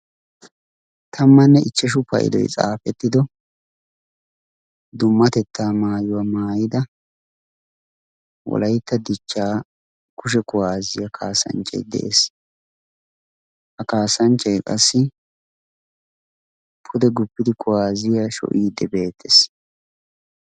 tammanne ichchashu paydoy xaafettido dummatettaa maayuwaa maayida wolaytta dichchaa kushe kuwaazziyaa kaasanchchai de'ees ha kaasanchchay qassi pude guppidi kuwaaziya sho'iiddi beettees